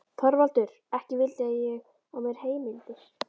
ÞORVALDUR: Ekki villi ég á mér heimildir.